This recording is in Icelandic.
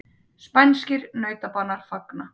Spænskir nautabanar fagna